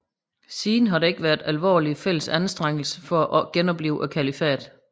Siden har der ikke været alvorlige fælles anstrengelser for at genoplive kalifatet